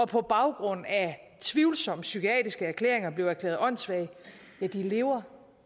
på baggrund af tvivlsomme psykiatriske erklæringer blev erklæret åndssvage lever